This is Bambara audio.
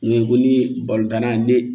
Ngo ye ko ni tanna ni